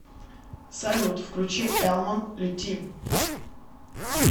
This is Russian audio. салют включи элман лети